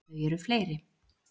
Þau eru fleiri.